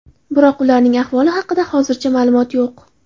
Biroq ularning ahvoli haqida hozircha ma’lumot yo‘q.